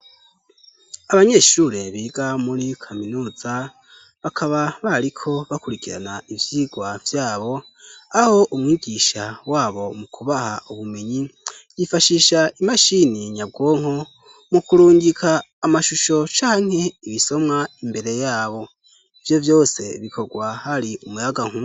Abanyeshure biga muri kaminuza, bakaba bariko bakurikirana ivyigwa vyabo, aho umwigisha wabo mu kubaha ubumenyi yifashisha imashini nyabwonko, mu kurungika amashusho canke ibisomwa imbere yabo. Ivyo vyose bikorwa hari umuyaganku..